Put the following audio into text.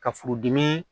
Ka furudimi